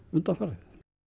undanfarið